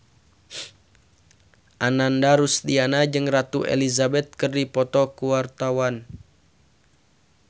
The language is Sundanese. Ananda Rusdiana jeung Ratu Elizabeth keur dipoto ku wartawan